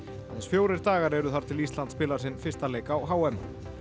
aðeins fjórir dagar eru þar til Ísland spilar sinn fyrsta leik á h m